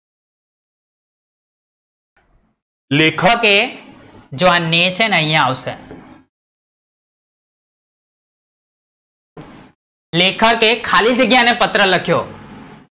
લેખકે ખાલીજગ્યા ને પત્ર લખ્યો